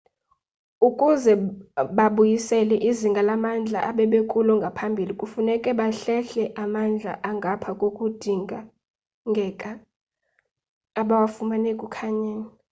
ukuze babuyisele izinga lamandla ebebekulo ngaphambili funeke bahlehle amandla angapha kokudingeka abawafumene ekukhanyeni